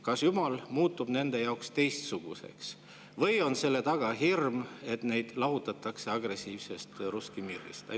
Kas Jumal muutub nende jaoks teistsuguseks või on selle taga hirm, et neid lahutatakse agressiivsest Russki Mirist?